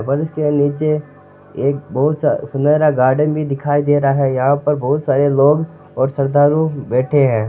के निचे एक बहुत सुनहरा गार्डन भी दिखाय दे रहा है यहा पर बहुत सारे लोग और सरदारु बेठे है।